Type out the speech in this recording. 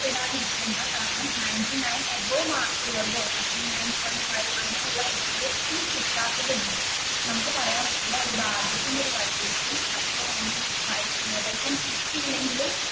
ഇടാതിരിക്കണ്ട കാരണം ninety nine above mark ഉള്ളവരോ ninety nine point five അങ്ങനെയുള്ള കുട്ടികൾ ഒട്ടും കിട്ടാത്തത് ഉണ്ട് നമുക്ക് പറയാൻ പറ്റില്ല ഒരു ഭാഗ്യത്തിന്റെ കളി ആയിരിക്കും, അപ്പൊ ഇനി കിട്ടിയില്ലെങ്കിലും